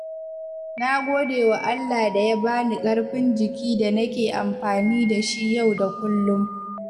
Na gode wa Allah da ya bani ƙarfin jiki da nake amfani da shi yau da kullum.